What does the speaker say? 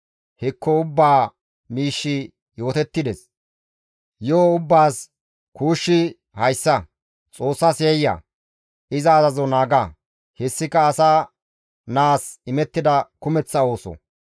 Hekko ubbaa miishshi yootettides; yo7o ubbaas kuushshi hayssa; Xoossas yayya; iza azazo naaga; hessika asa naas imettida kumeththa ooso.